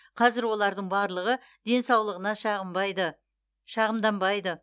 қазір олардың барлығы денсаулығына шағымданбайды